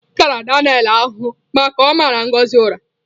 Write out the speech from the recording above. M tara Daniel ahụhụ maka ọ mara Ngozi ụra